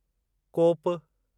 कोपु